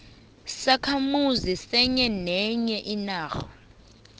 sisakhamuzi senye inarha